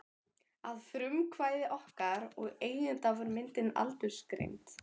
Að frumkvæði okkar og eigenda var myndin aldursgreind.